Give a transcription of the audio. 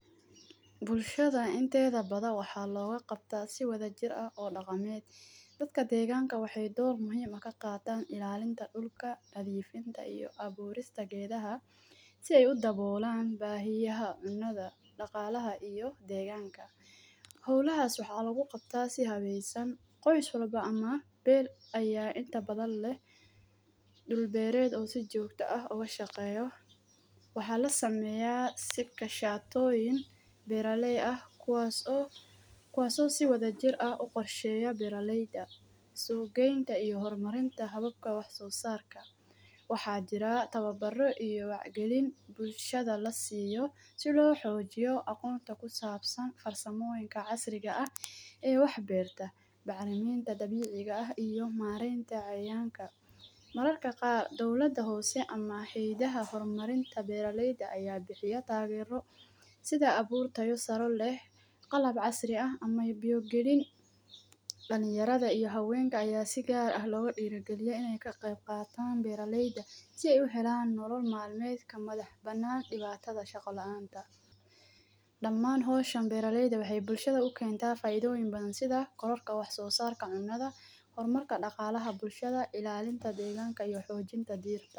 Bulshada inteeda bada waxaa loga qabta si wada jir ah oo dhaqameed. Dadka deegaanka waxay door muhiim ah ka qaataan ilaalinta dhulka, nadhiifinta iyo abuurista geedaha si ay u daboolaan baahiyaha cunnada, dhaqaalaha iyo deegaanka. Hawlahaas waxaa lagu qabtaa si habeesan. Qoys walba ama beer ayaa inta badan leh dhul beereed oo si joogto ah uga shaqeeyo. Waxaa la sameeyaa sibka shatooyin beeraley ah, kuwaaso-kuwaaso si wada jir ah u qorsheeyo beeraleyda, suugeynta iyo hormarinta hababka wax soosaarka. Waxaa jira tababarro iyo gelin bulshada la siiyo si loo xoojiyo aqoonta ku saabsan farsamooyinka casriga ah ee waxbeerta, bacrimiinta dabiiciga ah iyo maaraynta ceeyaanka. Mararka qaar, dawladda hoose ama Xidihaa Hormarinta Beeraleyda ayaa bixiya taageero sida abuurtoyo saroleh qalab casri ah ama biyo-gelin. daliniyarada iyo haweenka ayaa sigaar ah loga dhiirogelya inay ka qeyb qaataan beeraleyda si ay u helaa nolol maalmeedka madax banaan dhibaatada shaqo la'aanta. Dhammaan hooshan beeraleyda waxay bulshada u keenta faaidoon badan sida korarka wax soosaarka cunnada, hormarka dhaqaalaha bulshada, ilaalinta deegaanka iyo xoojinta diirta.